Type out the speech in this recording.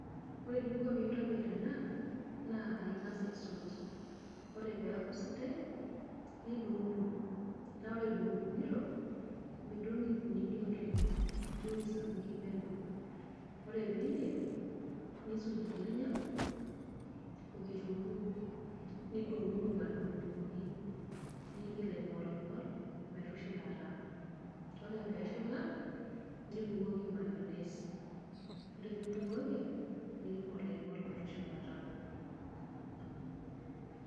Ore eninko piintobir ena naa aing'as aisuj, ore peeku sidai nidung'dung' naa ore idung'dung'ito midung' inkunini oleng' idung' isapukin peno. Ore piiindip, niisuj irnyanya o kitung'uu nidung'dung' adung'dung'oki niing'il aing'oling'ol metushulata, ore peeshula nibukoki mayones. Ore piibukoki niing'ol aing'ol metushulata.